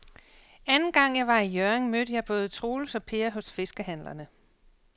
Anden gang jeg var i Hjørring, mødte jeg både Troels og Per hos fiskehandlerne.